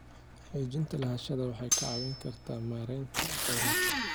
Xaqiijinta lahaanshaha waxay kaa caawin kartaa maareynta kheyraadka.